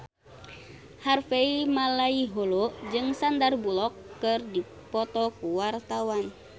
Harvey Malaiholo jeung Sandar Bullock keur dipoto ku wartawan